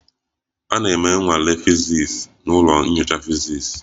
A na-eme nnwale fiziks n'ụlọ nyocha fiziks